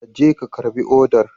Ka je ka karbi odar.